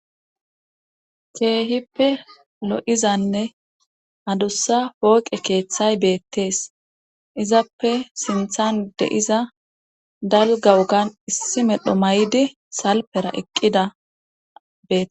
keehippe lo7izanne adussa pooqe keeththay beettees izappe sinthan de7iza dalga wogan issi medho may7idi salpera eqqida bee